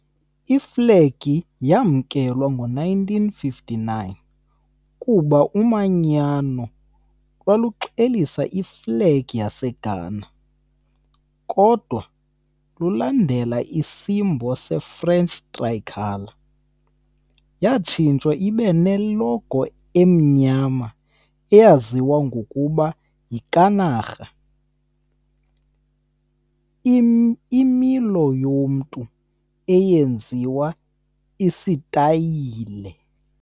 Iflegi yamkelwa ngo-1959 kuba umanyano lwaluxelisa iflegi yaseGhana, kodwa lulandela isimbo seFrench Tricolor . Yatshintshwa ibe ne logo emnyama eyaziwa ngokuba yi kanaga, imilo yomntu eyenziwe isitayile.